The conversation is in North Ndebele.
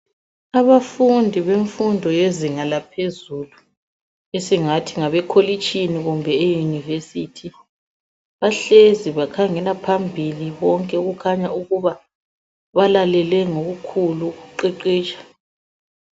Abafundi bemfundo yezinga laphezulu ,esingathi ngabekolitshini kumbe eunivesithi, bahlezi bakhangela phambili bonke okukhanya ukuba balalele ngokukhulu ukuqeqetsha.